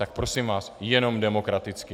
Tak prosím vás, jenom demokraticky.